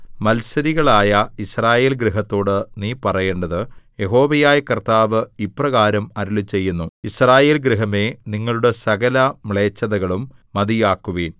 മത്സരികളായ യിസ്രായേൽ ഗൃഹത്തോട് നീ പറയേണ്ടത് യഹോവയായ കർത്താവ് ഇപ്രകാരം അരുളിച്ചെയ്യുന്നു യിസ്രായേൽ ഗൃഹമേ നിങ്ങളുടെ സകലമ്ലേച്ഛതകളും മതിയാക്കുവിൻ